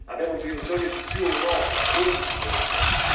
Abbiamo bisogno di più Europa, non di più confini.